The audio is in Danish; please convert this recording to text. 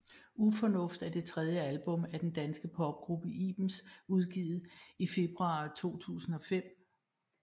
Ufornuft er det tredje album af den danske popgruppe Ibens udgivet i februar 2005